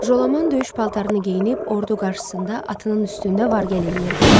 Jolaman döyüş paltarını geyinib ordu qarşısında atının üstündə vargəl eləyirdi.